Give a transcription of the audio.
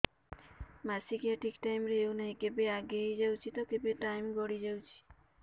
ମାସିକିଆ ଠିକ ଟାଇମ ରେ ହେଉନାହଁ କେବେ ଆଗେ ହେଇଯାଉଛି ତ କେବେ ଟାଇମ ଗଡି ଯାଉଛି